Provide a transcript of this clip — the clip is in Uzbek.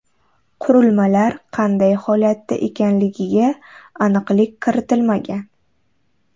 Qurilmalar qanday holatda ekanligiga aniqlik kiritilmagan.